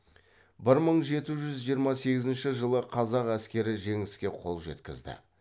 бір мың жеті жүз жиырма сегізінші жылы қазақ әскері жеңіске қол жеткізді